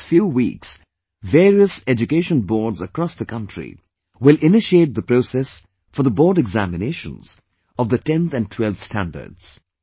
In the next few weeks various education boards across the country will initiate the process for the board examinations of the tenth and twelfth standards